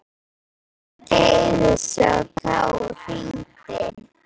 Hún teygði sig á tá og hringdi.